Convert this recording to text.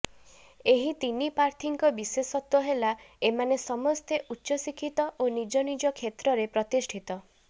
ଏହି ତିନି ପ୍ରାର୍ଥୀଙ୍କ ବିଶେଷତ୍ବ ହେଲା ଏମାନେ ସମସ୍ତେ ଉଚ୍ଚ ଶିକ୍ଷିତ ଓ ନିଜ ନିଜ କ୍ଷେତ୍ରରେ ପ୍ରତିଷ୍ଠିତ